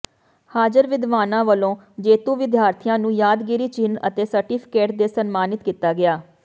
ਹਾਜ਼ਰ ਵਿਦਵਾਨਾ ਵਲੋਂ ਜੇਤੂ ਵਿਦਿਆਥੀਆਂ ਨੂੰ ਯਾਦਗਾਰੀ ਚਿੰਨ ਅਤੇ ਸਰਟੀਫਕੇਟ ਦੇ ਸਨਮਾਨਿਤ ਕੀਤਾ ਗਿਆ